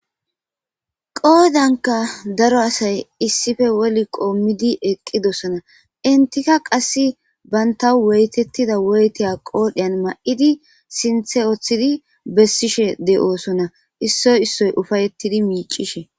qoodanka daro asay issife woli qoommidi eqqidosana intika qass baynta woytettida woytea qoodheyan ma7idi sinthe oththidi bessishe de7osona issoy issoy ufayettidi miicishe